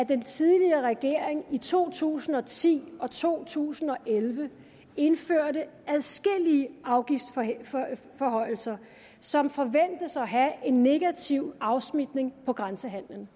den tidligere regering i to tusind og ti og to tusind og elleve indførte adskillige afgiftsforhøjelser som forventes at have en negativ afsmitning på grænsehandelen